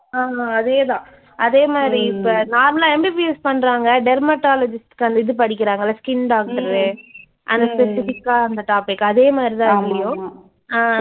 ஆமா அதே தான் அதே மாதிரி இப்ப normal ஆ MBBS பண்றங்க dermatologist க்கு அந்த இது படிக்கிறாங்கல்ல skin doctor உ அந்த specific ஆ அந்த topic அதே மாதிரி தான் இதுலயும் அஹ்